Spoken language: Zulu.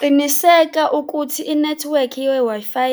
Qiniseka ukuthi i-nethiwekhi ye-Wi-Fi